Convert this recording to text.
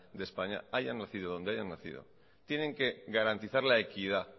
de españa hayan nacido donde hayan nacido tienen que garantizar la equidad